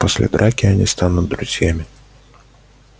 после драки они станут друзьями